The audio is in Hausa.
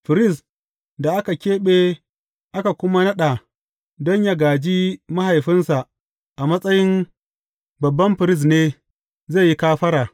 Firist da aka keɓe aka kuma naɗa don yă gāji mahaifinsa a matsayin babban firist ne zai yi kafara.